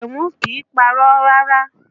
Àkànmú kìí parọ́ rárá